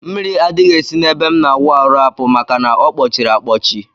Mmiri adghi esi na ebe m na awụ arụ apụ maka na ọkpọchiri akpọchi.